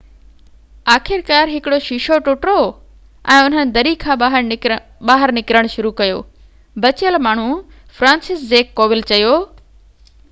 آخرڪار هڪڙو شيشو ٽٽو ۽ انهن دري کان ٻاهر نڪرڻ شروع ڪيو بچيل ماڻهو فرانسسزيڪ ڪوول چيو